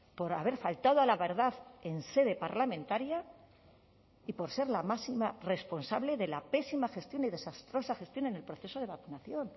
por haber faltado a la verdad en sede parlamentaria y por ser la máxima responsable de la pésima gestión y desastrosa gestión en el proceso de vacunación